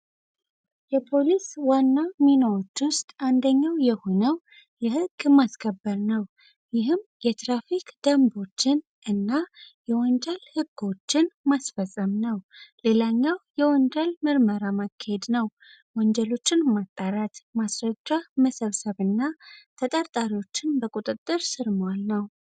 የፖሊስ ዋና ሚናዎች ውስጥ አንደኛው የሆነው የህግ ማስከበር ነው ይህም አንደኛው የትራፊክ ደንቦችን እና የወንጀል ህጎችን ማስፈፀም ነው። ሌላኛው የወንጀል ምርመራ ማካሄድ ነው ወንጀልን ማጣራት ማስረጃ መሰብሰብና ተጠርጣሪዎችን በቁጥጥር ስር ማዋል ነው።